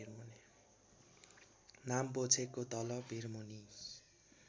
नाम्पोक्षेको तल भिरमुनी